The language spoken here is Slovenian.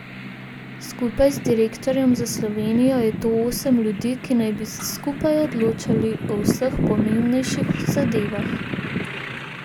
Skupaj z direktorjem za Slovenijo je to osem ljudi, ki naj bi se skupaj odločali o vseh pomembnejših zadevah.